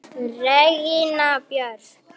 Regína Björk!